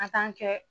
A kɛ